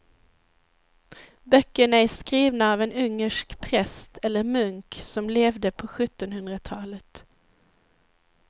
Böckerna är skrivna av en ungersk präst eller munk som levde på sjuttonhundratalet.